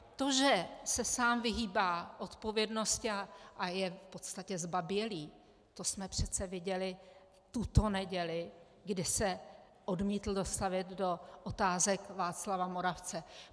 To, že se sám vyhýbá odpovědnosti a je v podstatě zbabělý, to jsme přece viděli tuto neděli, kdy se odmítl dostavit do otázek Václava Moravce.